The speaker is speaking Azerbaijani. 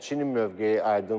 Çinin mövqeyi aydındır.